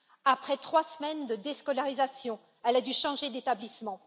Après trois semaines de déscolarisation, elle a dû changer d'établissement.